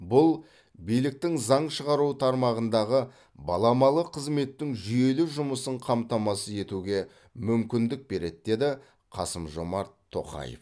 бұл биліктің заң шығару тармағындағы баламалы қызметтің жүйелі жұмысын қамтамасыз етуге мүмкіндік береді деді қасым жомарт тоқаев